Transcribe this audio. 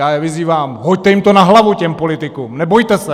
Já je vyzývám: Hoďte jim to na hlavu těm politikům, nebojte se!